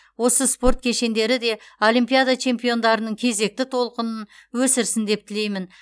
осы спорт кешендері де олимпиада чемпиондарының кезекті толқынын өсірсін деп тілеймін